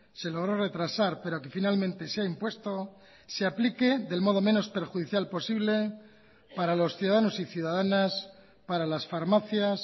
se logró retrasar pero que finalmente se ha impuesto se aplique del modo menos perjudicial posible para los ciudadanos y ciudadanas para las farmacias